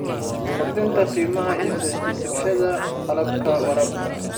Kordhi qiimaha iibsashada qalabka waraabka.